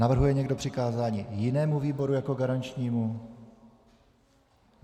Navrhuje někdo přikázání jinému výboru jako garančnímu?